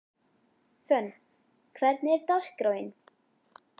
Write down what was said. Fönn, hvernig er dagskráin?